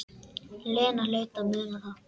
Lena hlaut að muna það.